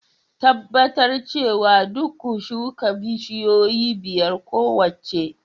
Tabbatar cewa duk ku shuka bishiyoyi biyar kowace